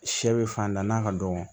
Sɛ bɛ fantan na ka dɔgɔn